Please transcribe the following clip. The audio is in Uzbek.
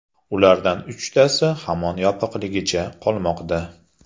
Ulardan uchtasi hamon yopiqligicha qolmoqda.